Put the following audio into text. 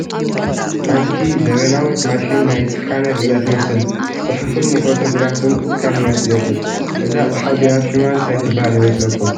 ሓንቲ ዘበናዊት ማሽን ናይ ስካነር እያ ትመስል፡፡ ንፅሑፍን ንፎቶ ግራፍን እስካን እያ ትገብር፡፡ እዛ ኣቕሓ እዚኣ ሽማ እንታይ ትባሃል ይመስለኩም?